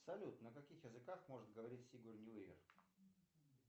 салют на каких языках может говорить сигурни уивер